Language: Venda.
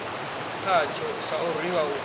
khatsho sa u rwiwa u